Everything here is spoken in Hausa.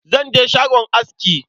Zan je shagon aski.